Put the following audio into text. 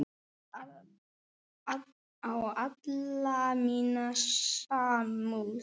Örn á alla mína samúð.